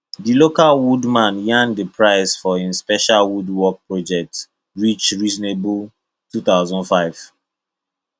the local woodman yarn the price for him special woodwork project reach reasonable two thousand five